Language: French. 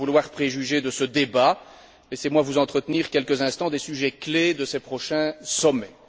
Sans vouloir préjuger de ce débat, laissez moi vous entretenir quelques instants des sujets clés de ces prochains sommets.